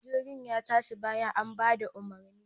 Jirgin ya tashi bayan an bada umarni.